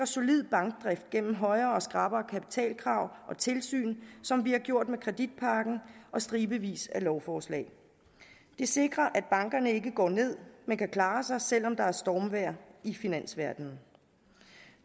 solid bankdrift gennem højere og skrappere kapitalkrav og tilsyn som vi har gjort med kreditpakken og stribevis af lovforslag det sikrer at bankerne ikke går ned men kan klare sig selv om der er stormvejr i finansverdenen